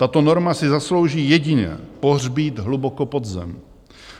Tato norma si zaslouží jedině pohřbít hluboko pod zem.